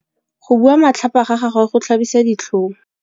Go bua matlhapa ga gagwe go tlhabisa ditlhong.